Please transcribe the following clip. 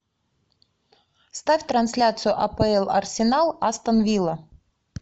ставь трансляцию апл арсенал астон вилла